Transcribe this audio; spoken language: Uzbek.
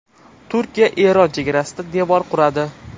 Turkiya Eron chegarasida devor quradi.